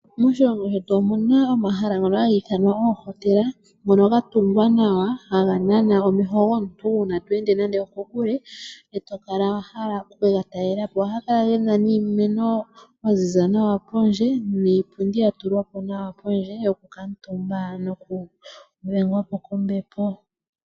Moshilongo shetu omu na omahala ngono gaha ithanwa oohotela, ngono ga tungwa nawa haga nana omeho gomuntu uuna to ende nande okokule e to kala wa hala oku ke ga talela po. Ohaga kala ge na iimeno ya ziza nawa pondje niipundi ya tulwa po nawapondje yokukaatumba nokudhengwa po kombepo.